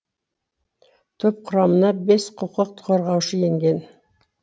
топ құрамына бес құқық қорғаушы енген